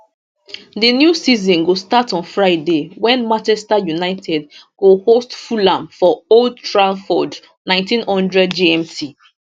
di new season go start on friday wen manchester united go host fulham for old trafford 1900 gmt